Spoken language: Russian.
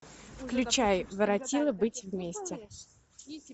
включай воротилы быть вместе